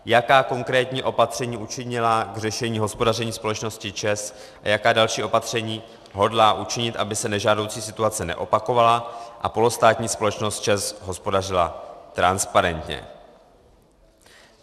Jaká konkrétní opatření učinila k řešení hospodaření společnosti ČEZ a jaká další opatření hodlá učinit, aby se nežádoucí situace neopakovala a polostátní společnost ČEZ hospodařila transparentně?